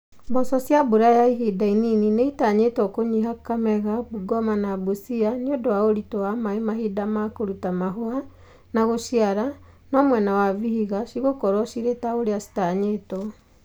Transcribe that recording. Mboco cia mbura ya ihinda inini nĩitanyĩtwo kũnyiha Kakamega, Bungoma na Busia nĩundũ wa ũritũ wa maĩ mahinda ma kũruta mahũa na gũciara no mwena wa Vihiga cigũkowro cirĩ ta ũria citanyĩtwo